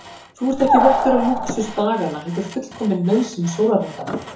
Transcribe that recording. Þú ert ekki vottur af lúxus daganna heldur fullkomin nauðsyn sólarhringanna.